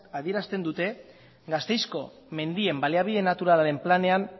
adierazten dute gasteizko mendien baliabide naturalaren planean